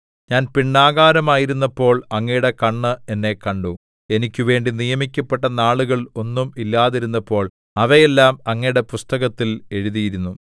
ഞാൻ പിണ്ഡാകാരമായിരുന്നപ്പോൾ അങ്ങയുടെ കണ്ണ് എന്നെ കണ്ടു എനിക്കുവേണ്ടി നിയമിക്കപ്പെട്ട നാളുകൾ ഒന്നും ഇല്ലാതിരുന്നപ്പോൾ അവയെല്ലാം അങ്ങയുടെ പുസ്തകത്തിൽ എഴുതിയിരുന്നു